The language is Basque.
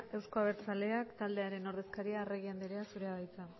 euzko abertzaleak taldearen ordezkaria arregi andrea zurea da hitza